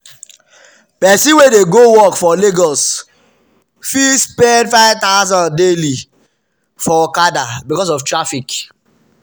person wey dey go work for lagos fit spend ₦5000 daily for okada because of traffic.